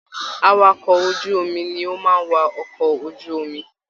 Àwàkọ̀ ojú omi ni o máa n wà ọkọ ojú omi.